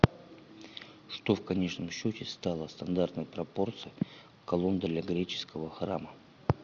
что в конечном счете стало стандартной пропорцией колонн для греческого храма